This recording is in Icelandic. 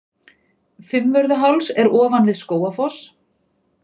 Fimmvörðuháls er ofan við Skógafoss.